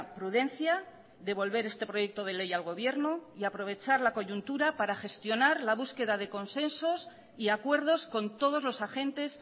prudencia devolver este proyecto de ley al gobierno y aprovechar la coyuntura para gestionar la búsqueda de consensos y acuerdos con todos los agentes